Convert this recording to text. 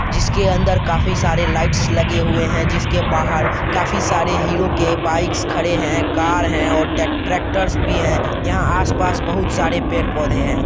जिसके अंदर काफी सारे लाइट्स लगे हुए हैं जिसके बाहर काफी सारे हीरो के बाइक्स खड़े हैं कार है और ट्रे ट्रेक्टर्स भी है| यहां आसपास बहुत सारे पेड़-पौधे हैं।